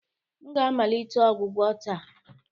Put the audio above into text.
M ga-amalite ọgwụgwọ taa